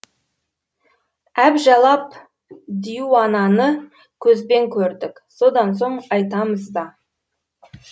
әбжәлап диуананы көзбен көрдік содан соң айтамыз да